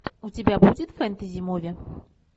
у тебя будет фэнтези муви